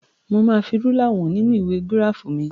Mo máa fi rúlà wọ̀n nínú ìwé gíráàfù mi.